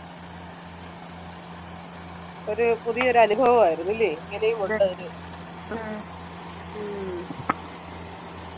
ഒരു പുതിയൊരു അനുഭവമായിരുന്നു ല്ലേ അല്ലെ ഇങ്ങനെയും ഉണ്ട് ഉം